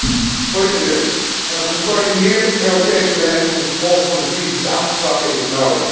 Voorzitter, een gecoördineerd Europees beleid om de gevolgen van de crisis aan te pakken is nodig.